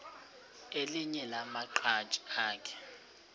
elinye lamaqhaji akhe